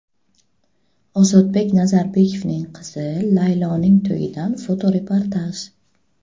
Ozodbek Nazarbekovning qizi Layloning to‘yidan fotoreportaj .